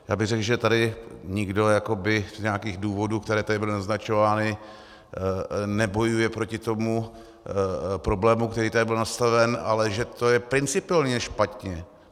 Já bych řekl, že tady nikdo z nějakých důvodů, které tady byly naznačovány, nebojuje proti tomu problému, který tady byl nastolen, ale že to je principiálně špatně.